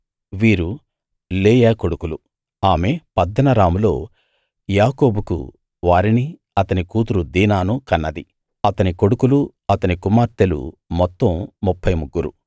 వీరు లేయా కొడుకులు ఆమె పద్దనరాములో యాకోబుకు వారిని అతని కూతురు దీనానూ కన్నది అతని కొడుకులూ అతని కుమార్తెలూ మొత్తం ముప్ఫై ముగ్గురు